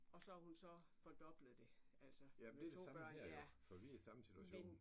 Og så har hun så fordoblet det altså med to børn ja